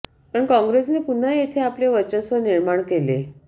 पण कॉंग्रेसने पुन्हा येथे आपले वर्चस्व निर्माण केले